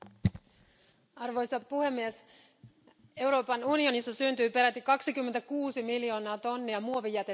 Arvoisa puhemies, Euroopan unionissa syntyy peräti 26 miljoonaa tonnia muovijätettä vuodessa.